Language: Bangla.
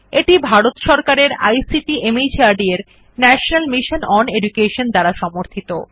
এটি ভারত সরকারের আইসিটি মাহর্দ এর ন্যাশনাল মিশন ওন এডুকেশন দ্বারা সমর্থিত